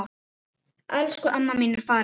Elsku amma mín er farin.